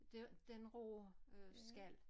Det den rå øh skal